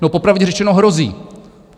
No, popravdě řečeno, hrozí.